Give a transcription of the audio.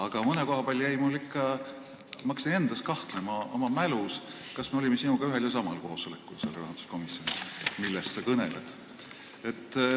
Aga mõne koha peal ma hakkasin endas, oma mälus kahtlema, kas me olime sinuga ühel ja samal rahanduskomisjoni koosolekul, millest sa kõnelesid.